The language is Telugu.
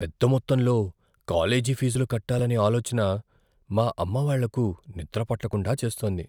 పెద్ద మొత్తంలో కాలేజీ ఫీజులు కట్టాలనే ఆలోచన మా అమ్మావాళ్ళకు నిద్రపట్టకుండా చేస్తోంది.